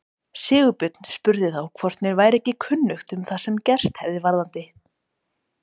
Sigurbjörn spurði þá hvort mér væri ekki kunnugt um það sem gerst hefði varðandi